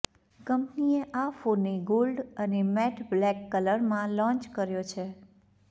કંપનીએ આ ફોનને ગોલ્ડ અને મેટ બ્લેક કલરમાં લોન્ચ કર્યો છે